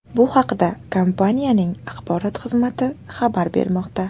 Bu haqda kompaniyaning axborot xizmati xabar bermoqda .